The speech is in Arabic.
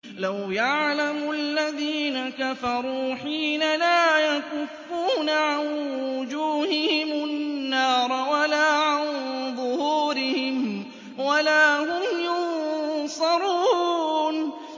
لَوْ يَعْلَمُ الَّذِينَ كَفَرُوا حِينَ لَا يَكُفُّونَ عَن وُجُوهِهِمُ النَّارَ وَلَا عَن ظُهُورِهِمْ وَلَا هُمْ يُنصَرُونَ